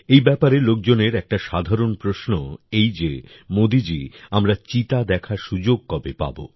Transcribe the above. এই ব্যাপারে লোকজনের একটা সাধারণ প্রশ্ন এই যে মোদীজী আমরা চিতা দেখার সুযোগ কবে পাব